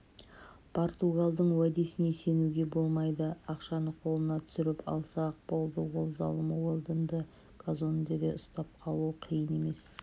португалдың уәдесіне сенуге болмайды ақшаны қолына түсіріп алса-ақ болды ол залым уэлдонды казондеде ұстап қалуы қиын емес